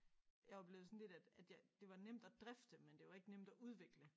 Jeg var blevet sådan lidt at at jeg det var nemt at drifte men det var ikke nemt at udvikle